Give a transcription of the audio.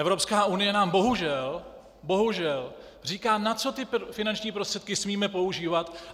Evropská unie nám bohužel, bohužel říká, na co ty finanční prostředky smíme používat.